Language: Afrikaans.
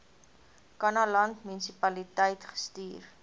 kannaland munisipaliteit gestuur